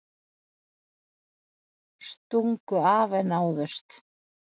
Stungu af en náðust